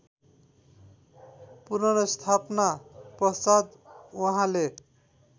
पुनर्स्थापना पश्चात् उहाँले